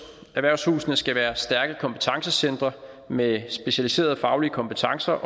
erhvervshusene skal være stærke kompetencecentre med specialiserede faglige kompetencer